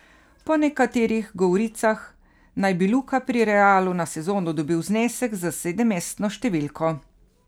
Po nekaterih govoricah naj bi Luka pri Realu na sezono dobil znesek s sedemmestno številko.